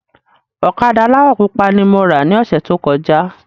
Ọ̀kadà aláwọ̀ pupa ni mo rà ni ọ̀sẹ̀ tó kọjá